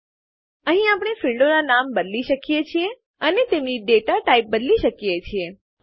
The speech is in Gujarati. અહીં આપણે ફીલ્ડો ક્ષેત્રોનું નામ બદલી શકીએ છીએ અને તેમની ડેટા ટાઈપ બદલી શકીએ છીએ